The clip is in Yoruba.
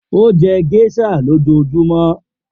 O jẹ geisha lojoojumọ